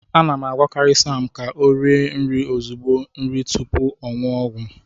M na-agwakarị Sam ka o rie nri ezigbo nri tupu ọ ṅụọ ọgwụ ya